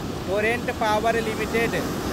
torrent power limited